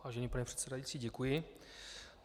Vážený pane předsedající, děkuji.